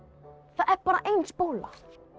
það er bara ein spóla